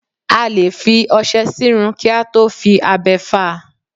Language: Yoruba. A lè fi ọṣẹ sírun kí a tó fi abẹ fá a.